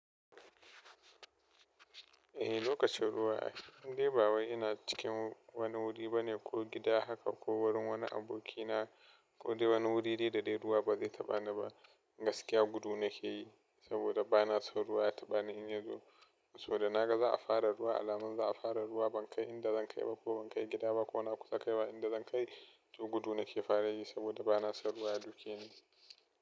Eh, lokacin ruwa in dai ba wai ina cikin wani wuri bane ko gida haka ko wurin wani abokina ko dai wani wuri dai da dai ruwa ba zai ta bani ba. Gaskiya gudu nake yi saboda ba na so ruwa ya ta bani. Ina yazo so da naga za a fara ruwa, alamar za a fara ruwa. Ban kai inda zan kai ba ko ban kai gida ba. Kona kusa kaiwa inda zan kai, to gudu nake fara yi saboda ba na son ruwa ya duke ni.